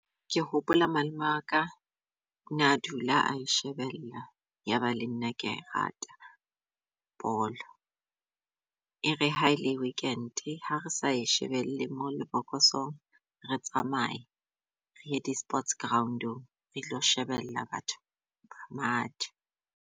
Ke hopola malome waka ona dula a e shebella yaba le nna kea e rata bolo. E re ha ele weekend-e ha re sa e shebelle mo lebokoso, re tsamaye re ye di sports ground-ong re tlo shebella batho ba matha.